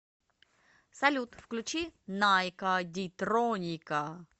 салют включи найкка дитроника